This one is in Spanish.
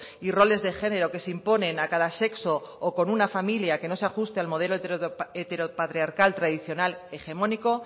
y roles de género que se imponen a cada sexo o en una familia que no se ajuste al modelo heteropatriarcal tradicional hegemónico